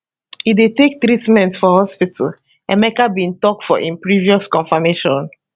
e dey take treatment for hospital emeka bin tok for im previous confirmation